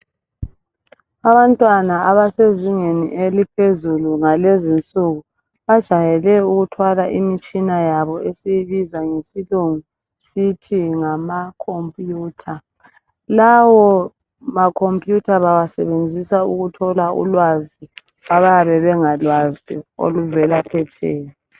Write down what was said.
Abantwana abasezingeni eliphezulu ngalezinsuku bajayele ukuthwala imitshina yabo esiyibiza ngesilungu sithi ngama computer. Lawo ma computer bawasebenzisa ukuthola ulwazi abayabe bengalwazi oluvela phetsheya.